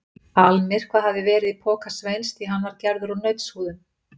Almyrkvað hafði verið í poka Sveins því hann var gerður úr nautshúðum.